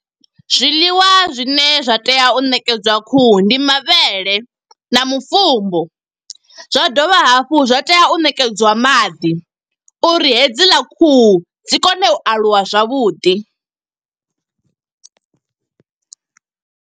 Zwiḽiwa zwine zwa tea u ṋekedzwa khuhu, ndi mavhele na mufumbu. Zwa dovha hafhu zwa tea u ṋekedzwa maḓi, uri hedziḽa khuhu dzi kone u aluwa zwavhuḓi.